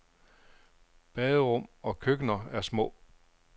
Baderum og køkkener er små.